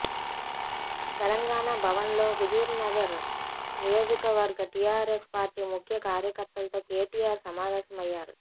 తెలంగాణ భవన్లో హుజూర్నగర్ నియోజకవర్గ TRS party ముఖ్య కార్యకర్తలతో కేటీఆర్ సమావేశమయ్యారు